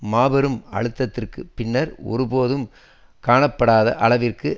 மாபெரும் அழுத்தத்திற்குப் பின்னர் ஒரு போதும் காணாப்படாத அளவிற்கு